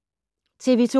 TV 2